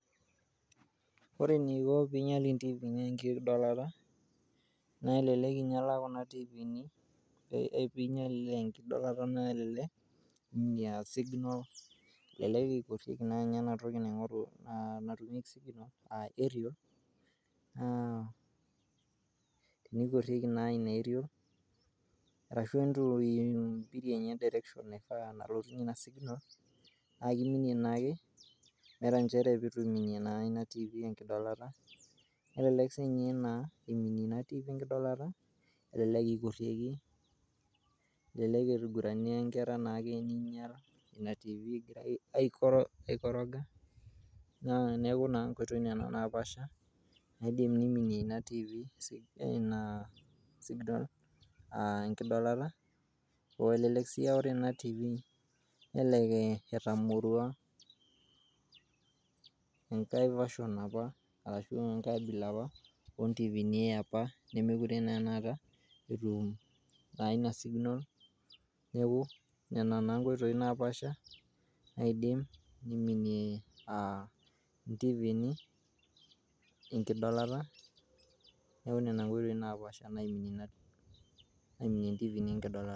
Ore eniko pee iinyial intifini enkidolata naa kelelekaa signal aa aerial nigusieki naa ninye aerial naa tiniminie naa kelelek iminie ina TV enkingorata neeku aikoroga, elelek sii etamorua, enkae version apa.